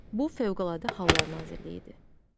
Bu Fövqəladə Hallar Nazirliyidir.